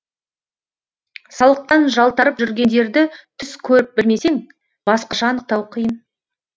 салықтан жалтарып жүргендерді түс көріп білмесең басқаша анықтау қиын